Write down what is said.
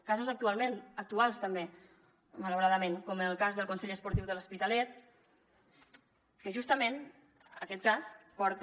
casos actuals també malauradament com el cas del consell esportiu de l’hospitalet que justament aquest cas porta